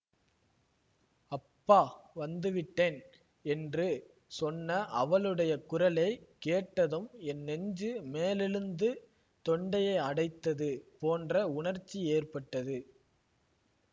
அப்பா வந்துவிட்டேன் என்று சொன்ன அவளுடைய குரலை கேட்டதும் என் நெஞ்சு மேலெழுந்து தொண்டையை அடைத்தது போன்ற உணர்ச்சி ஏற்பட்டது